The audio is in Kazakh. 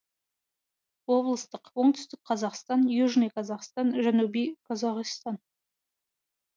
облыстық оңтүстік қазақстан южный казахстан жанубий қозоғистан